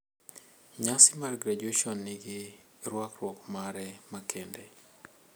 Nyasi mar graduation nigi rwakruok mare makende.